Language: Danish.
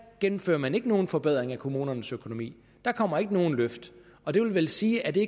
gennemfører man ikke nogen forbedringer af kommunernes økonomi der kommer ikke nogen løft og det vil vel sige at det